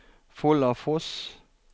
Follafoss